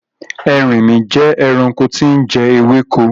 Ẹrìnmí jẹ́ ẹ̀ràṇkò tìì ǹ jẹ̀ èwèkò.